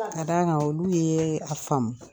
Ka d'a kan olu yeee a faamu